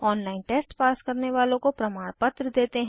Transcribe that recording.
online test pass करने वालों को प्रमाणपत्र देते हैं